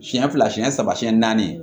Siɲɛ fila siɲɛ saba siyɛn naani